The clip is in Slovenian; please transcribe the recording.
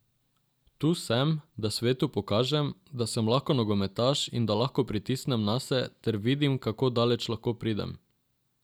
Tu sem, da svetu pokažem, da sem lahko nogometaš in da lahko pritisnem nase ter vidim, kako daleč lahko pridem.